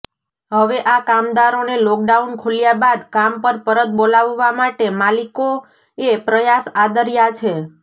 હવે આ કામદારોને લોકડાઉન ખુલ્યા બાદ કામ પર પરત બોલાવવા માટે માલિકોએ પ્રયાસ આદર્યા છે